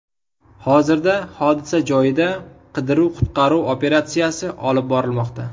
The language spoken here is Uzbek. Hozirda hodisa joyida qidiruv-qutqaruv operatsiyasi olib borilmoqda.